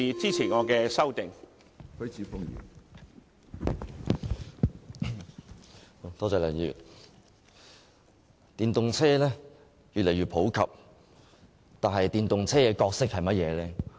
梁議員，電動車越來越普及，但電動車擔當甚麼角色呢？